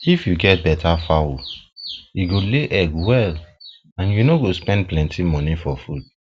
if you get better fowl e fowl e go lay egg well and you no go spend plenty money for feed